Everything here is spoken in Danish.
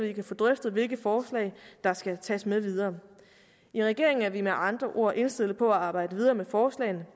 vi kan få drøftet hvilke forslag der skal tages med videre i regeringen er vi med andre ord indstillet på at arbejde videre med forslagene